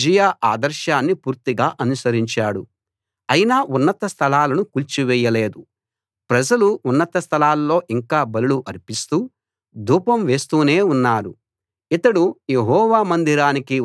అయినా ఉన్నత స్థలాలను కూల్చివేయలేదు ప్రజలు ఉన్నత స్థలాల్లో ఇంకా బలులు అర్పిస్తూ ధూపం వేస్తూనే ఉన్నారు ఇతడు యెహోవా మందిరానికి ఉన్న ఎత్తయిన ద్వారాన్ని కట్టించాడు